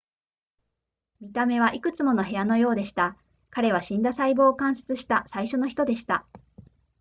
見た目はいくつもの部屋のようでした彼は死んだ細胞を観察した最初の人でした